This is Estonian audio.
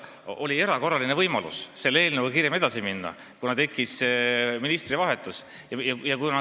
Oli erakorraline võimalus selle eelnõuga kiiremini edasi minna, kuna tekkis ministri vahetus.